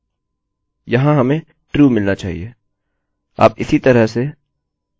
यहाँ हमें true मिलना चाहिए